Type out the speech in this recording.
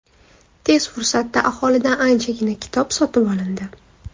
Tez fursatda aholidan anchagina kitob sotib olindi.